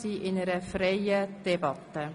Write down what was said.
Wir führen eine freie Debatte.